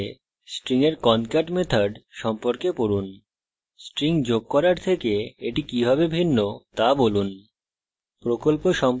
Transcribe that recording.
জাভাতে strings এর concat method সম্পর্কে পড়ুন strings যোগ করার থেকে এটি কিভাবে ভিন্ন তা বলুন